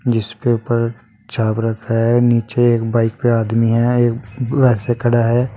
जिसपे ऊपर छाव रखा है नीचे एक बाइक पे आदमी है एक वैसे खड़ा है।